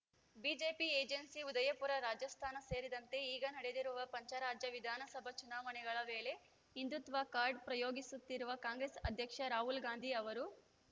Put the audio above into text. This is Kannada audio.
ಬಿಜೆಪಿ ಏಜೆನ್ಸಿ ಉದಯಪುರ ರಾಜಸ್ಥಾನ ಸೇರಿದಂತೆ ಈಗ ನಡೆದಿರುವ ಪಂಚರಾಜ್ಯ ವಿಧಾನಸಭಾ ಚುನಾವಣೆಗಳ ವೇಳೆ ಹಿಂದುತ್ವ ಕಾರ್ಡ್‌ ಪ್ರಯೋಗಿಸುತ್ತಿರುವ ಕಾಂಗ್ರೆಸ್‌ ಅಧ್ಯಕ್ಷ ರಾಹುಲ್‌ ಗಾಂಧಿ ಅವರು